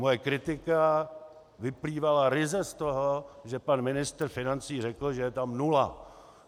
Moje kritika vyplývala ryze z toho, že pan ministr financí řekl, že je tam nula.